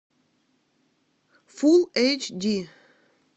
фул эйч ди